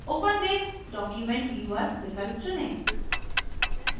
open with document viewer विकल्प चुनें